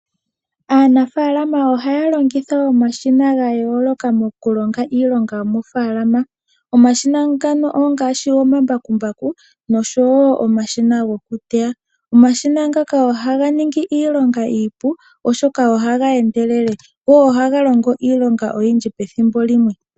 Aanafaalama ohaya longitha omashina ga yooloka moku longa iilonga yomoofaalama. Omashina ngano ongaashi omambakumbaku, nosho wo omashina goku teya. Omashina ngaka ohaga ningi iilonga iipu, oshoka oha ga endelele go ohaga longo iilonga oyindji pethimbo limwe.